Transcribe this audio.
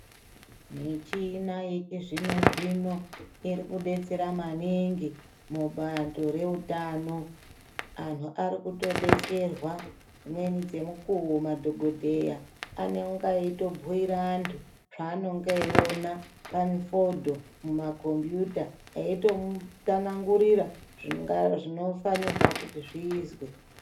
Michina yechizvino zvino irikudetsera maningi mubato reutano .Anhu arikutodeserwa dzimweni dzemukuwo madhokodheya anonga eitobhuyira antu cheanonga eiona parifodho mumakombiyuta eitomutsanangurira zvinofanirwa kuti zviizwe.